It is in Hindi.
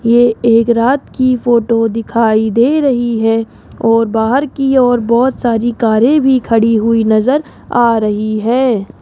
ये एक रात की फोटो दिखाई दे रही है और बाहर की ओर बहोत सारी कारे भी खड़ी हुई नजर आ रही है।